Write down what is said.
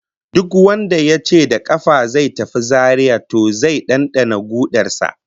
Duk wanda yace da kafa zai tafi Zaria to zai dandana kudar sa